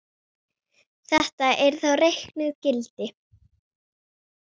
Þetta eru þá reiknuð gildi.